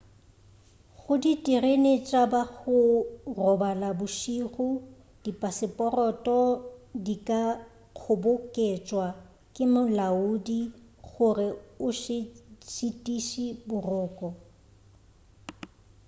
go diterene tša ba go robala bošego dipaseporoto di ka kgoboketšwa ke molaodi gore o se šitišwe boroko